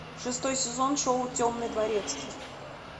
шестой сезон шоу темный дворецкий